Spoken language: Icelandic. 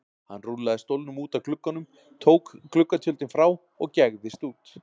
Hann rúllaði stólnum út að glugganum, tók gluggatjöldin frá og gægðist út.